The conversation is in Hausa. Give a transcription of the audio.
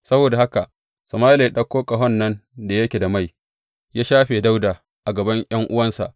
Saboda haka Sama’ila ya ɗauko ƙahon nan da yake da mai ya shafe Dawuda a gaban ’yan’uwansa.